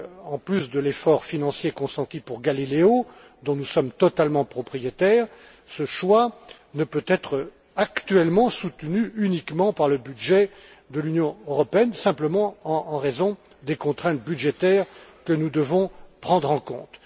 En plus de l'effort financier consenti pour GALILEO, dont nous sommes totalement propriétaires, ce choix ne peut être actuellement soutenu uniquement par le budget de l'Union européenne simplement en raison des contraintes budgétaires que nous devons prendre en compte.